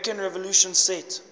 american revolution set